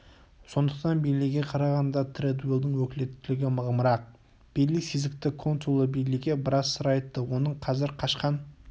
сондықтан бейлиге қарағанда тердуэллдің өкілеттігі мығымырақ бейли сезікті консулы бейлиге біраз сыр айтты оның қазір қашқан